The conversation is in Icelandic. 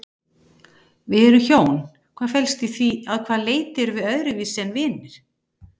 Við erum hjón, hvað felst í því, að hvaða leyti erum við öðruvísi en vinir?